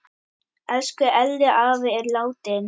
Elsku Elli afi er látin.